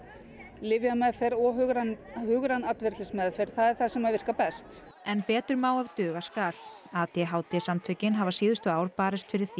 lyfjameðferð og hugræn hugræn atferlismeðferð er það sem virkar best en betur má ef duga skal a d h d samtökin hafa síðustu ár barist fyrir því